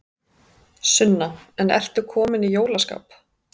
Sunna: En ertu kominn í jólaskap?